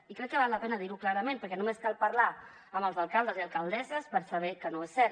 i crec que val la pena dir ho clarament perquè només cal parlar amb els alcaldes i alcaldesses per saber que no és cert